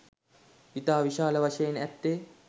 ඉතා විශාල වශයෙන් ඇත්තේ